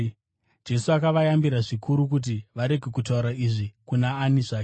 Jesu akavayambira zvikuru kuti varege kutaura izvi kuna ani zvake.